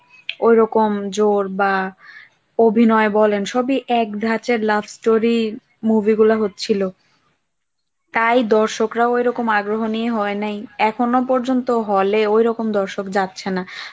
ওইরকম জোর বা অভিনয় বলেন সবই এক ধাঁচের love story movie গুলো হচ্ছিল, তাই দর্শকরা ওরকম আগ্রহ নিয়ে হয় নাই, এখনও পর্যন্ত hall এ ঐরকম দর্শক যাচ্ছে না